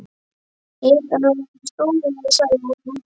Ég hélt honum hefði verið stolið sagði hann að lokum.